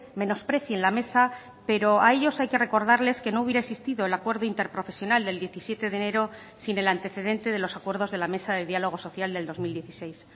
menosprecien la mesa pero a ellos hay que recordarles que no hubiera existido el acuerdo interprofesional del diecisiete de enero sin el antecedente de los acuerdos de la mesa de diálogo social del dos mil dieciséis